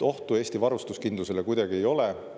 Ohtu Eesti varustuskindlusele kuidagi ei ole.